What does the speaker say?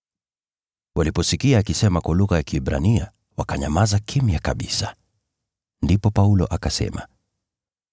Waliposikia akisema kwa lugha ya Kiebrania, wakanyamaza kimya kabisa. Ndipo Paulo akasema,